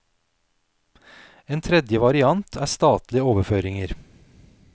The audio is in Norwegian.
En tredje variant er statlige overføringer.